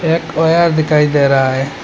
एक वायर दिखाई दे रहा है।